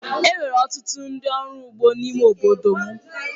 E nwere ọtụtụ ndị ọrụ ugbo n’ime ime obodo m.